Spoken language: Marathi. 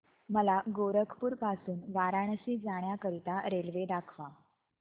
मला गोरखपुर पासून वाराणसी जाण्या करीता रेल्वे दाखवा